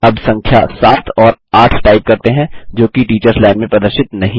अब संख्या सात और आठ टाइप करते हैं जोकि टीचर्स लाइन में प्रदर्शित नहीं हैं